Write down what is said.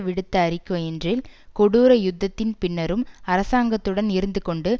விடுத்த அறிக்கையொன்றில் கொடூர யுத்தத்தின் பின்னரும் அரசாங்கத்துடன் இருந்துகொண்டு